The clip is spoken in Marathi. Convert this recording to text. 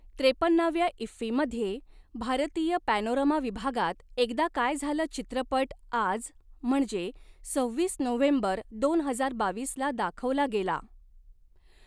त्रेपन्नाव्या इफ्फीमध्ये, भारतीय पॅनोरमा विभागात, एकदा काय झालं चित्रपट आज, म्हणजे सव्हीस नोव्हेंबर दोन हजार बावीसला दाखवला गेला.